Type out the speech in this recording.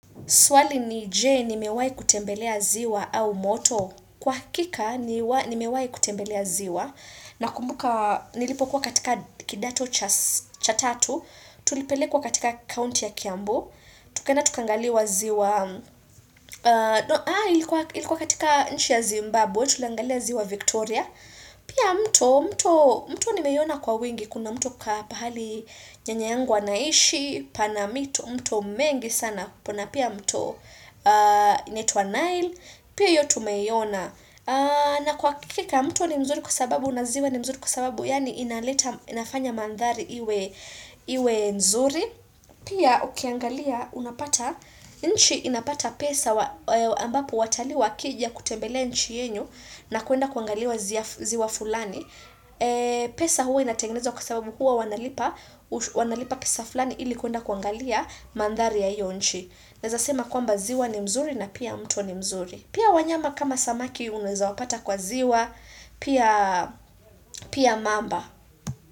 Swali ni je, ni mewai kutembelea ziwa au moto. Kwa hakika, ni mewai kutembelea ziwa. Na kumbuka, nilipo kuwa katika kidato cha tatu. Tulipele kwa katika county ya Kiambu. Tukaenda tukangaliwa ziwa. Haa, ilikuwa katika nchi ya Zimbabwe. Tuliangalia ziwa Victoria. Pia mto, mto, mto nimeiona kwa wengi. Kuna mto ka pahali nyanya anaishi, panamito, mto mengi sana. Pana pia mto inaitwa Nile pia hiyo tumeiona na kwa hakika mto ni mzuri kwa sababu unaziwa ni mzuri kwa sababu yaani inaleta inafanya mandhari iwe iwe nzuri pia ukiangalia unapata nchi inapata pesa ambapo watalii wa kija kutembele nchi yenyu na kwenda kuangaliwa ziwa fulani pesa huwa inatengeneza kwa sababu huwa wanalipa pesa fulani ilikuenda kuangalia mandhari ya hiyo nchi. Naeza sema kwamba ziwa ni mzuri na pia mto ni mzuri. Pia wanyama kama samaki unaweza wapata kwa ziwa, pia pia mamba.